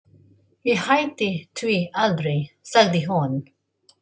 Ég hætti því aldrei, sagði hún.